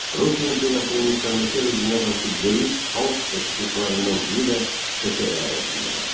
Rusiya imperiyasının müstəmləkə rejiminə qarşı böyük xalq çıxışlarından biri də Şəki əyalətində baş verdi.